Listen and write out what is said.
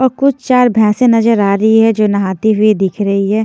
और कुछ चार भैंसे नजर आ रही है जो नहाती हुई दिख रही है।